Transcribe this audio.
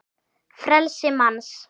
frelsi manns